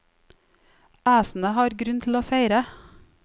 Æsene har grunn til å feire.